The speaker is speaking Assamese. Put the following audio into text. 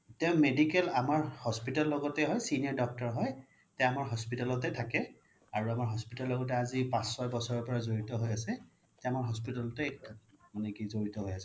তেও medical আমাৰ hospital লগতে হয় senior doctor হয় তেও আমাৰ hospital তে থাকে আৰু আমাৰ hospital ৰ ল্গ্তে আজি পাচ চয় বছৰ জৰিত হৈ আছে এতিয়া আমাৰ hospital তে মানে কি জৰিত হৈ আছে